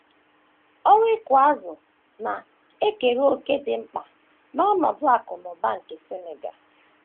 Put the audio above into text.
Ọrụ ịkụ azụ̀ na - ekere òkè dị mkpa n’ọnọdụ akụ̀ na ụba nke Senegal.